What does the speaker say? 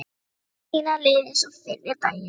Hitt fór sína leið eins og fyrri daginn.